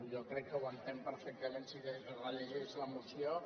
jo crec que ho entén perfectament si es rellegeix la moció